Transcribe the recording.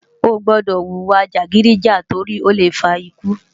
Oógbòdò wúwa jágidijá tòri ólé fá ikú